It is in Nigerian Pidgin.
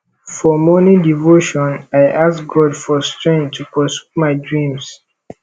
for morning devotion i ask god for strength to pursue my dreams